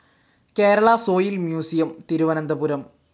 Kerala soil museum, Thiruvananthapuram